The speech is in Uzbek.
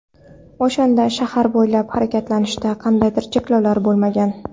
O‘shanda shahar bo‘ylab harakatlanishda qandaydir cheklovlar bo‘lmagan.